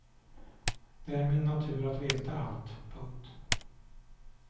Det är min natur att veta allt. punkt